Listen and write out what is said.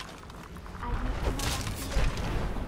Aaji anapar iloito